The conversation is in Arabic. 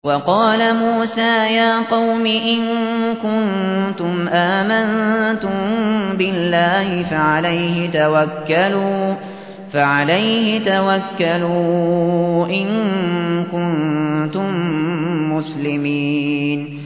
وَقَالَ مُوسَىٰ يَا قَوْمِ إِن كُنتُمْ آمَنتُم بِاللَّهِ فَعَلَيْهِ تَوَكَّلُوا إِن كُنتُم مُّسْلِمِينَ